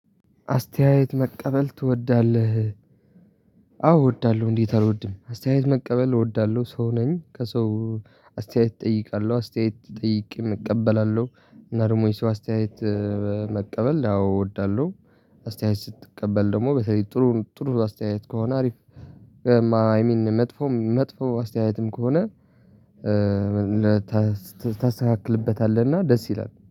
አስተያየት መቀበል ትወዳለህ? አዎ እወዳለሁ እንዴት አልወድም አስተያየት መቀበል እወዳለሁ ሰው ነኝ። ከሰው አስተያየት እጠይቃለሁ አስተያየት ጠይቄም እቀበላለሁ። እና ደግሞ የሰው አስተያየት መቀበል አዎ እወዳለሁ። አስተያየት ስትቀበል ደግሞ በተለይ ጥሩ ጥሩ አስተያየት ከሆነ ሀሪፍ። መጥፎም መጥፎ አስተያየትም ከሆነ ታስተካክልበታለህ እና ደስ ይላል